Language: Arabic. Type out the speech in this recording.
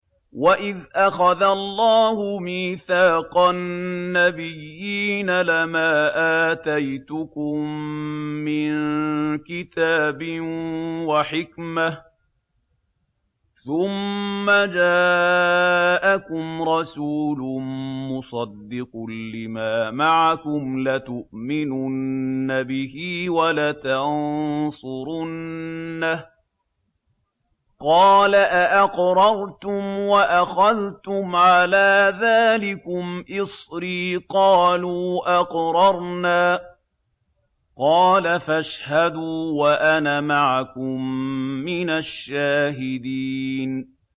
وَإِذْ أَخَذَ اللَّهُ مِيثَاقَ النَّبِيِّينَ لَمَا آتَيْتُكُم مِّن كِتَابٍ وَحِكْمَةٍ ثُمَّ جَاءَكُمْ رَسُولٌ مُّصَدِّقٌ لِّمَا مَعَكُمْ لَتُؤْمِنُنَّ بِهِ وَلَتَنصُرُنَّهُ ۚ قَالَ أَأَقْرَرْتُمْ وَأَخَذْتُمْ عَلَىٰ ذَٰلِكُمْ إِصْرِي ۖ قَالُوا أَقْرَرْنَا ۚ قَالَ فَاشْهَدُوا وَأَنَا مَعَكُم مِّنَ الشَّاهِدِينَ